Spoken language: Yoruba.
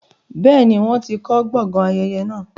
bẹ́ẹ̀ni, wọ́n ti kọ gbọgán ayẹyẹ naa.